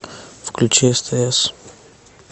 включи стс